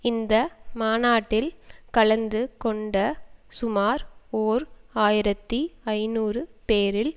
இந்த மாநாட்டில் கலந்து கொண்ட சுமார் ஓர் ஆயிரத்தி ஐநூறு பேரில்